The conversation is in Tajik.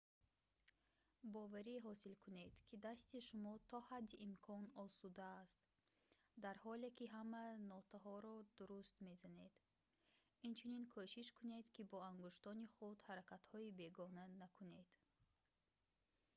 боварӣ ҳосил кунед ки дасти шумо то ҳадди имкон осуда аст дар ҳоле ки ҳама нотаҳоро дуруст мезанед инчунин кӯшиш кунед ки бо ангуштони худ ҳаракатҳои бегона накунед